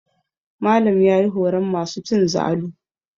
Malam ya yi horon masu cin zalu.